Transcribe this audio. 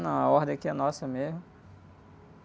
Não, a ordem aqui é nossa mesmo.